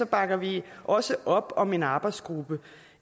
bakker vi også op om en arbejdsgruppe